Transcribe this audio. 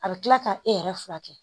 A bɛ kila ka e yɛrɛ fura kɛ